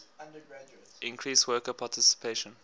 increase worker participation